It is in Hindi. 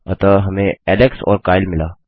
अतः हमें एलेक्स और काइल मिला